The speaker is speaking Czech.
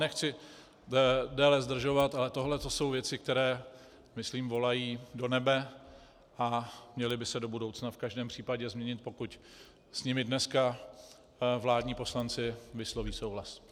Nechci déle zdržovat, ale tohle to jsou věci, které myslím volají do nebe a měly by se do budoucna v každém případě změnit, pokud s nimi dneska vládní poslanci vysloví souhlas.